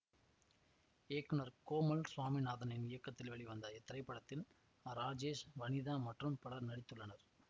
இயக்குனர் கோமல் சுவாமிநாதனின் இயக்கத்தில் வெளிவந்த இத்திரைப்படத்தில் ராஜேஷ் வனிதா மற்றும் பலர் நடித்துள்ளனர்